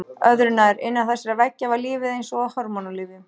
Öðru nær: innan þessara veggja var lífið eins og á hormónalyfjum.